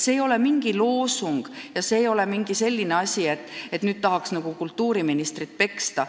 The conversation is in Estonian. See ei ole mingi loosung ja see ei ole mingi soov kultuuriministrit veidi peksta.